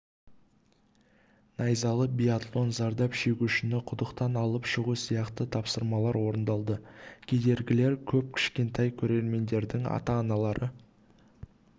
найзалы биатлон зардап шегушіні құдықтан алып шығу сияқты тапсырмалар орындалды кедергілер көп кішкентай көрермендердің ата-аналары